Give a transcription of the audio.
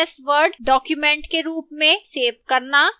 ms word document के रूप में सेव करना